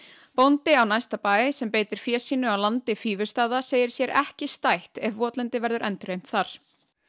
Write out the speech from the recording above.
bóndi á næsta bæ sem beitir fé sínu á landi segir sér ekki stætt ef votlendi verður endurheimt þar